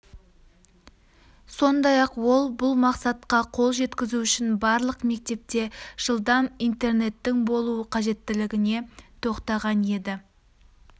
сондай-ақ ол бұл мақсатқа қол жеткізу үшін барлық мектепте жылдам интернеттің болуы қажеттілігіне тоқтаған еді